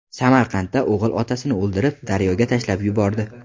Samarqandda o‘g‘il otasini o‘ldirib, daryoga tashlab yubordi.